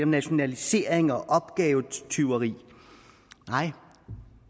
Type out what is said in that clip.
nationalisering og opgavetyveri nej